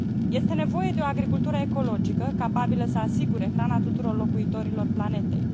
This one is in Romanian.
Este nevoie de o agricultură ecologică, capabilă să asigure hrana tuturor locuitorilor planetei.